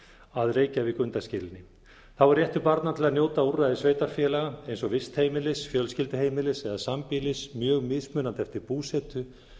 að reykjavík undanskilinni þá er réttur barna til að njóta úrræðis sveitarfélaga eins og vistheimilis fjölskylduheimilis eða sambýlis mjög mismunandi eftir búsetu